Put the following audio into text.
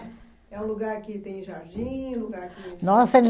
É um lugar que tem jardim? Lugar que Nossa